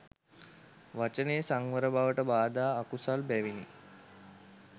වචනයේ සංවර බවට බාධා, අකුසල් බැවිනි.